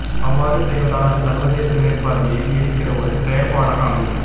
அவ்வாறு செய்வதால் அது சர்வதேச மேற்பார்வையை நீடிக்கிற ஒரு செயற்பாடாக அமையும்